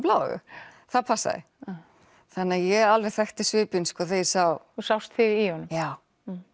blá augu það passaði þannig ég alveg þekkti svipinn þegar ég sá þú sást þig í honum já